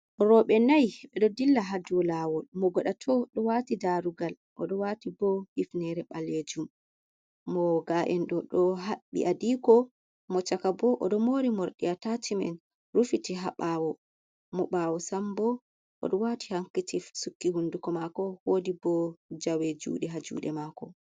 Rewɓe, nai ɓe ɗo dilla hadou lawol, mo gaɗa to ɗo wati darugal, o ɗo wati bo hifnere ɓalejuum, mo ga'en bo ɗo haɓɓi adiko mako, mo chaka bo o ɗo mori morɗi atashimen rufiti ha ɓawo, mo ɓawo sambo o ɗo wati hankishif sukki hunduko mako, wodi bo jawe ha juɗe ha mako.